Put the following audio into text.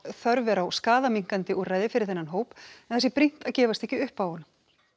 þörf er á skaðaminnkandi úrræði fyrir þennan hóp en það sé brýnt að gefast ekki upp á honum